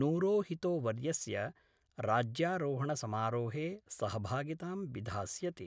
नूरोहितोवर्यस्य राज्यारोहणसमारोहे सहभागितां विधास्यति।